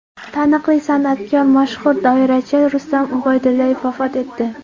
Taniqli san’atkor, mashhur doirachi Rustam Ubaydullayev vafot etdi .